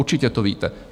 Určitě to víte.